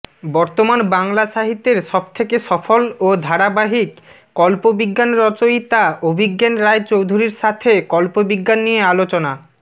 বর্তমান বাংলা সাহিত্যের সবথেকে সফল ও ধারাবাহিক কল্পবিজ্ঞান রচয়িতা অভিজ্ঞান রায়চৌধুরীর সাথে কল্পবিজ্ঞান নিয়ে আলোচনা